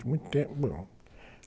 Muito tempo